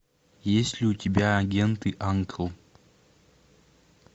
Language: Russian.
есть ли у тебя агенты анкл